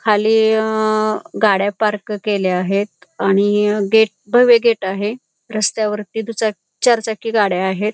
खाली अ गाड्या पार्क केल्या आहेत आणि गेट भव्य गेट आहे रस्त्यावरती दुचाक चार चाकी गाड्या आहेत.